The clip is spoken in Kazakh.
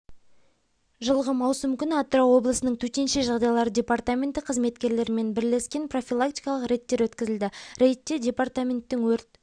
жылғы маусым күні атырау облысының төтенше жағдайлар департаменті қызметкерлерімен бірлесекен профилактикалық редтер өткізілді рейдте департаментттің өрт